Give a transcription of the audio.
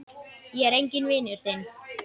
Ég er enginn vinur þinn!